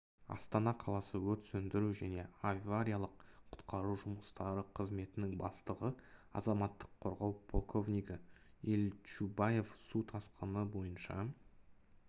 астана қаласы өрт сөндіру және авариялық-құтқару жұмыстары қызметінің бастығы азаматтық қорғау полковнигі ильчубаев су тасқыны бойынша